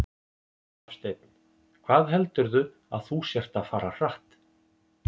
Hafsteinn: Hvað heldurðu að þú sért að fara hratt?